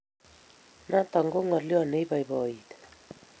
Notok ko ngolio ne ibaibaiti